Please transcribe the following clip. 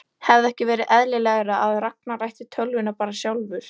Hefði ekki verið eðlilegra að Ragnar ætti tölvuna bara sjálfur?